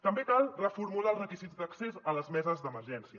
també cal reformular els requisits d’accés a les meses d’emergència